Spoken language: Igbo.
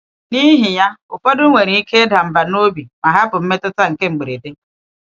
N’ihi ya, ụfọdụ nwere ike ịda mbà n’obi ma hapụ mmetụta nke mberede.